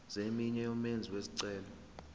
zeminwe yomenzi wesicelo